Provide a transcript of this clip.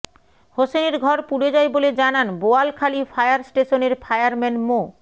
হোসেনের ঘর পুড়ে যায় বলে জানান বোয়ালখালী ফায়ার স্টেশনের ফায়ারম্যান মো